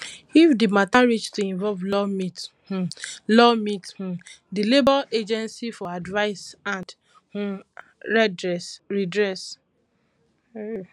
if di matter reach to involve law meet um law meet um di labour agency for advise and um redress redress